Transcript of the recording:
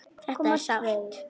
Þetta er sárt.